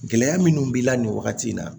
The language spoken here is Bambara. Gɛlɛya minnu b'i la nin wagati in na